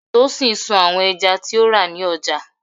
Tosin sun àwọn ẹja tí ó rà ní ọjà.